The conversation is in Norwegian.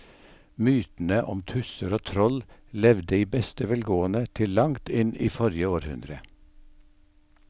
Mytene om tusser og troll levde i beste velgående til langt inn i forrige århundre.